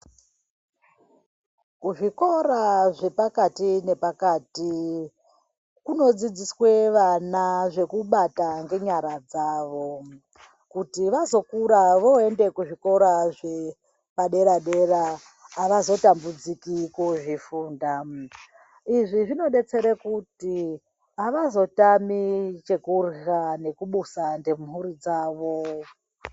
Muzvikora zvepakati nepakati kunodzidziswe vana zvekubata ngenyara dzawo kuti vazokura voende kuzvikora zvepadera dera avazotambudziki kozvifunda izvi zvinodetsera kuti avazotami chekurya nekubusa nemhuri dzawo.